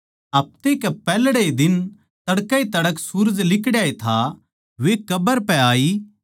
हफ्ते के पैहल्ड़े दिन तड़कए तड़कै सूरज लिकड़ाए था वे कब्र पै आई